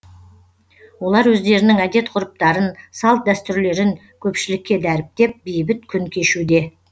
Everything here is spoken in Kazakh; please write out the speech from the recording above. олар өздерінің әдет ғұрыптарын салт дәстүрлерін көпшілікке дәріптеп бейбіт күн кешуде